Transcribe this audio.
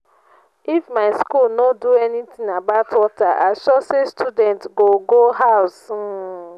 if my school no do anything about water i sure say students go go house um